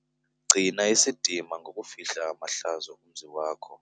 Gcina isidima ngokufihla amahlazo omzi wakho.